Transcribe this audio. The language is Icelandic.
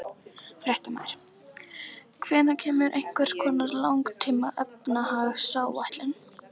Fréttamaður: Hvenær kemur einhvers konar langtíma efnahagsáætlun?